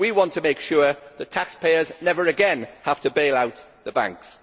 We want to make sure that taxpayers never again have to bail out the banks.